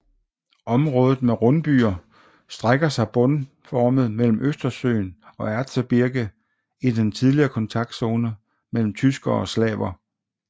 Området med rundbyer strækker sig båndformet mellem Østersøen og Erzgebirge i den tidligere kontaktzone mellem tyskere og slaver